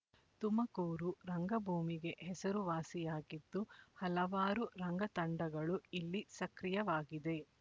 ತುಮಕೂರು ರಂಗಭೂಮಿಗೆ ಹೆಸರು ವಾಸಿಯಾಗಿದ್ದು ಹಲವಾರು ರಂಗ ತಂಡಗಳು ಇಲ್ಲಿ ಸಕ್ರಿಯವಾಗಿದೆ